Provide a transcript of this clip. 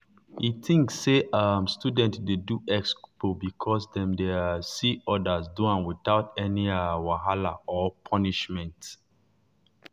e think say um students dey do expo because dem dey um see others do am without any um wahala or punishment.